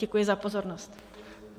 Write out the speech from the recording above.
Děkuji za pozornost.